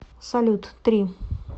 салют три